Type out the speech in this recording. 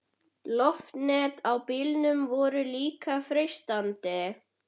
Loftnet á bílum voru líka freistandi.